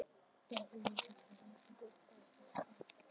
Þá æfðum við kannski leikrit eða útbjuggum spurningaleik.